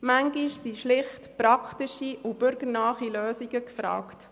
Manchmal sind schlicht praktische und bürgernahe Lösungen gefragt.